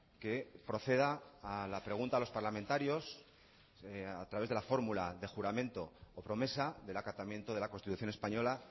que proceda a la pregunta a los parlamentarios a través de la fórmula de juramento o promesa del acatamiento de la constitución española